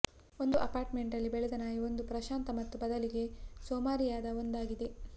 ಒಂದು ಅಪಾರ್ಟ್ಮೆಂಟ್ನಲ್ಲಿ ಬೆಳೆದ ನಾಯಿ ಒಂದು ಪ್ರಶಾಂತ ಮತ್ತು ಬದಲಿಗೆ ಸೋಮಾರಿಯಾದ ಒಂದಾಗಿದೆ